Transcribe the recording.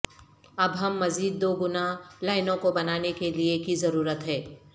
اب ہم مزید دو گنا لائنوں کو بنانے کے لئے کی ضرورت ہے